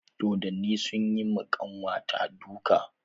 Dodonni sun yi ma ƙanwa ta duka.